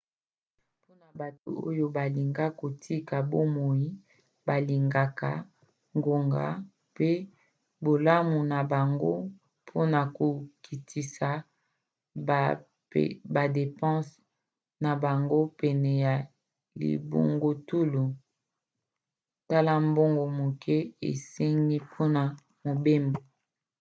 mpona bato oyo balingi kotika bomoi balingaka ngonga mpe bolamu na bango mpona kokitisa badepanse na bango pene ya libungutulu tala mbongo moke esengi mpona mobembo